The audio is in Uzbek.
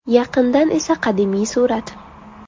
Yaqindan esa qadimiy surat.